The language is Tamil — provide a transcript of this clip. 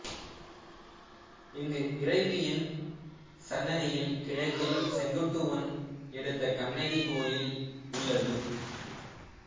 இங்கு இறைவியின் சன்னதியின் கிழக்கில் செங்குட்டுவன் எடுத்த கண்ணகி கோயில் உள்ளது